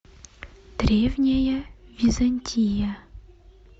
древняя византия